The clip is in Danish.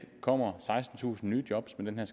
kommer sekstentusind nye job med den